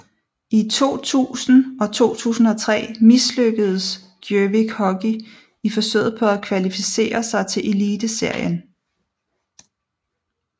I 2000 og 2003 mislykkedes Gjøvik Hockey i forsøget på at kvalificere sig til Eliteserien